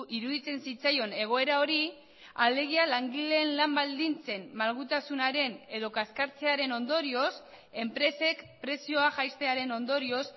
iruditzen zitzaion egoera hori alegia langileen lan baldintzen malgutasunaren edo kaskartzearen ondorioz enpresek prezioa jaistearen ondorioz